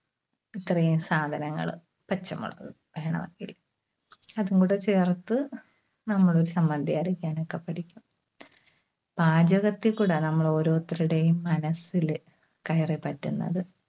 ഇത്രയും സാധനങ്ങള്. പച്ചമുളക് വേണമെങ്കിൽ. അതുംകൂടെ ചേർത്ത് നമ്മള് ഒരു ചമ്മന്തി അരക്കാനൊക്കെ പഠിക്കും. പാചകത്തിൽ കൂടെ നമ്മളോരോരുത്തരുടേയും മനസ്സില് കയറിപ്പറ്റുന്നത്.